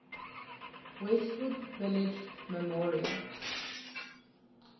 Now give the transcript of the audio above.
westwood village memorial